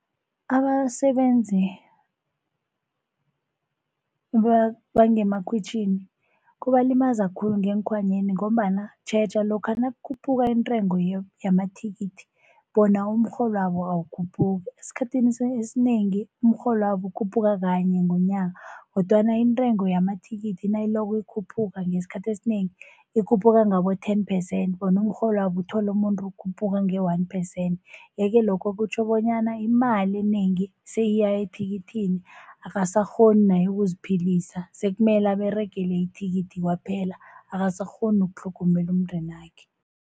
Abasebenzi bangemakhwitjhini kubalimaza khulu ngeekhwanyeni ngombana tjheja lokha nakukhuphuka iintengo yamathikithi bona umrholwabo awukhuphuki. Esikhathini esinengi umrholwabo ukhuphuka kanye ngonyaka. Kodwana intengo yamathikithi nayiloko ikhuphuka ngesikhathi esinengi ikhuphuka ngabo-ten percent, bona umrholwabo uthole umuntu ukhuphuka nge-one percent. Yeke lokho kutjho bonyana imali enengi seyiya ethikithini akasakghoni naye ukuziphilisa sekumele aberegele ithikithi kwaphela akasakghoni nokutlhogomela umndenakhe.